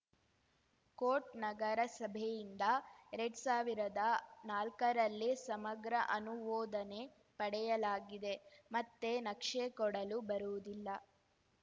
coat ನಗರಸಭೆಯಿಂದ ಎರಡ್ ಸಾವಿರ್ದಾ ನಾಲ್ಕರಲ್ಲೇ ಸಮಗ್ರ ಅನುಮೋದನೆ ಪಡೆಯಲಾಗಿದೆ ಮತ್ತೆ ನಕ್ಷೆ ಕೊಡಲು ಬರುವುದಿಲ್ಲ